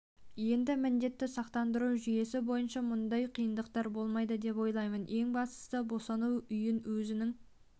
енді міндетті сақтандыру жүйесі бойынша мұндай қиындықтар болмайды деп ойлаймын ең бастысы босану үйін өзің